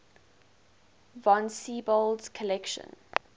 von siebold's collection